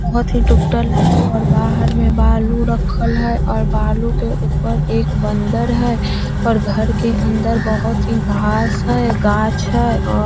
बहोत ही टूटल है और बहार में बालू रखल है और बालू के ऊपर एक बन्दर है और घर के अन्दर बहोत ही घास है गाछ है और --